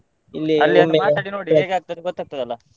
ಅಲ್ಲಿ ಒಂದು ಮಾತಾಡಿ ನೋಡಿ ಹೇಗೆ ಆಗ್ತದೆ ಅಂತ ಗೊತ್ತಾಗ್ತದಲ್ಲ.